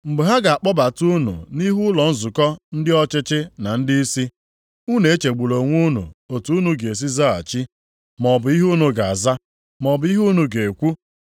“Mgbe ha ga-akpọbata unu nʼihu ụlọ nzukọ, ndị ọchịchị na ndịisi, unu echegbula onwe unu otu unu ga-esi zaghachi, maọbụ ihe unu ga-aza, maọbụ ihe unu ga-ekwu.